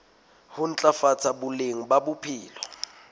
ho ntlafatsa boleng ba bophelo